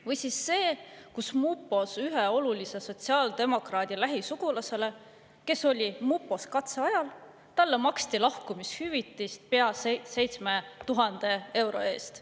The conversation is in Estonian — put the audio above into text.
Või siis see, et mupos maksti ühe olulise sotsiaaldemokraadi lähisugulasele, kes oli mupos katseajal, lahkumishüvitist pea 7000 eurot.